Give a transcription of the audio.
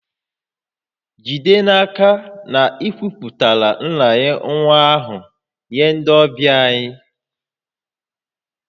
Jide n'aka na ị kwupụtara nranye nwa ahụ nye ndị ọbịa anyị